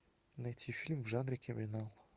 найти фильм в жанре криминал